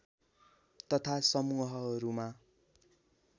तथा समूहहरूमा